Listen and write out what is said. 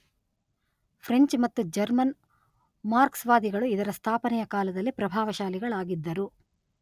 French ಮತ್ತು German Marx ವಾದಿಗಳು ಇದರ ಸ್ಥಾಪನೆಯ ಕಾಲದಲ್ಲಿ ಪ್ರಭಾವಶಾಲಿಗಳಾಗಿದ್ದರು.